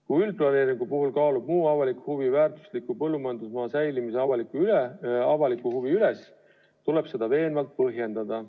Kui üldplaneeringu puhul kaalub muu avalik huvi väärtusliku põllumajandusmaa säilimise avaliku huvi üles, tuleb seda veenvalt põhjendada.